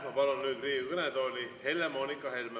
Ma palun nüüd Riigikogu kõnetooli Helle-Moonika Helme.